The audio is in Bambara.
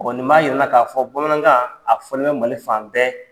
nin b'a yir'i la k'a fɔ bamanankan a fɔlen bɛ Mali fan bɛɛ.